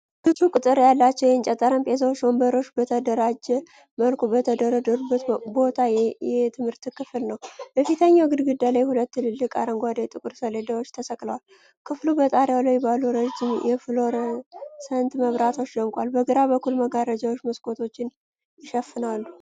ብዙ ቁጥር ያላቸው የእንጨት ጠረጴዛዎችና ወንበሮች በተደራጀ መልኩ የተደረደሩበት ባዶ የትምህርት ክፍል ነው። በፊተኛው ግድግዳ ላይ ሁለት ትልልቅ አረንጓዴ ጥቁር ሰሌዳዎች ተሰቅለዋል። ክፍሉ በጣሪያው ላይ ባሉ ረጅም የፍሎረሰንት መብራቶች ደምቋል። በግራ በኩል መጋረጃዎች መስኮቶችን ይሸፍናሉ።